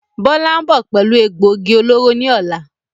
Bọlá ń bọ̀ pẹ̀lú egbògi olóró ni ọ̀la